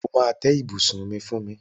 O máa tẹ́ ibùsùn mi fún mi.